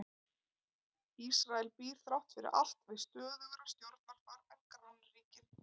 Ísrael býr þrátt fyrir allt við stöðugra stjórnarfar en grannríkin.